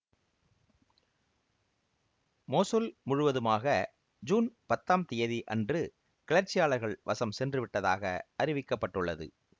Mosul முழுவதுமாக June பத்தாம் தியதி அன்று கிளர்ச்சியாளர்கள் வசம் சென்றுவிட்டதாக அறிவிக்க பட்டுள்ளது